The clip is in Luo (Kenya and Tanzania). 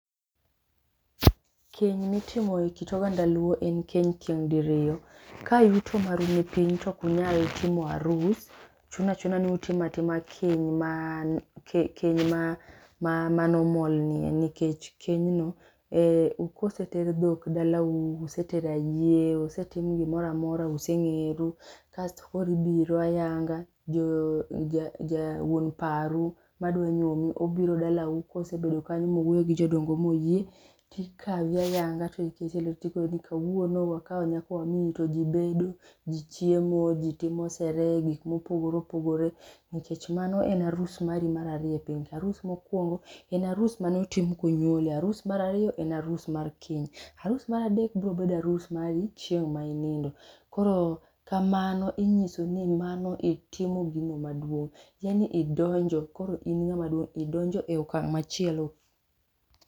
Kenya mitimo e kit oganda luo en keny tieng' diriyo, ka yuto maru nipiny to ok unyal timo arus, chuno achuna ni utimo atima keny ma normal ni nikech kenyno, koseter dhok dalau, usetero ayie, osetim gimora mora, useng'eru. Kasto koro ibiro ayanga, wuon paru madwa nyuomi, obiro dalawu. Kosebedo kanyo mong'i gi jodongo moyie, tikawi ayanga to tikoni kawuono wakawo nyakoni to ji bedo ,ji chiemo, ji timo sherehe gik mopogore opogore nikech mano en arus mari mar ariyo e pinyka. Arus mokwongo en arus manotimni konyuoli. Arus mar ariyo en arus mar keny. Arus mar adek brobedo arus mari chieng' ma inindo. Koro kamano, inyiso ni mano itimo gino maduong'. Tiendeni idonjo koro in ng'ama duong'. Idonjo e okang' machielo.